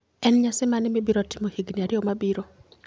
En nyasi mane mibiro timo higini ariyo mabiro?